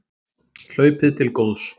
Hlaupið til góðs